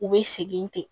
U bɛ segin ten